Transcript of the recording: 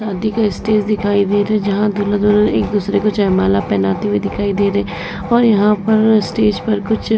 शादी का स्टेज दिखाई दे रहा है जहाँ दूल्हा दुल्हन एक दूसरे को जयमाला पहनाते हुए दिखाई दे रहे हैं और यहाँ पर स्टेज पर कुछ --